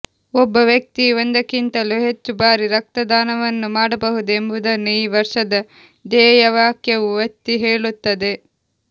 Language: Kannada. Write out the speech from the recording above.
ಒಬ್ಬ ವ್ಯಕ್ತಿಯು ಒಂದಕ್ಕಿಂತಲೂ ಹೆಚ್ಚು ಬಾರಿ ರಕ್ತದಾನವನ್ನು ಮಾಡಬಹುದು ಎಂಬುದನ್ನು ಈ ವರ್ಷದ ಧ್ಯೇಯವಾಕ್ಯವು ಒತ್ತಿ ಹೇಳುತ್ತದೆ